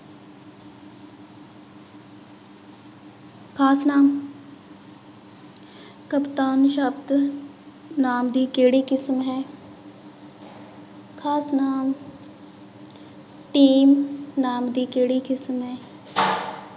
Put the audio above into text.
ਖ਼ਾਸ ਨਾਂਵ ਕਪਤਾਨ ਸ਼ਬਦ ਨਾਂਵ ਦੀ ਕਿਹੜੀ ਕਿਸਮ ਹੈ ਖ਼ਾਸ ਨਾਂਵ team ਨਾਂਵ ਦੀ ਕਿਹੜੀ ਕਿਸਮ ਹੈ